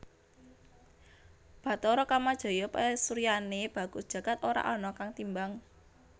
Bathara Kamajaya pasuryané bagus jagad ora ana kang timbang